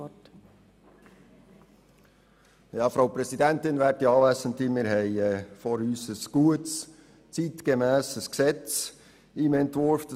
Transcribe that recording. Wir haben ein gutes, zeitgemässes Gesetz im Entwurf vorliegen.